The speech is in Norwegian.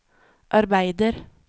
arbeider